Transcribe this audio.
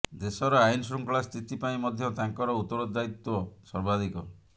ଦେଶର ଆଇନ ଶୃଙ୍ଖଳା ସ୍ଥିତି ପାଇଁ ମଧ୍ୟ ତାଙ୍କର ଉତ୍ତରଦାୟିତ୍ବ ସର୍ବାଧିକ